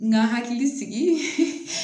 N ka hakili sigi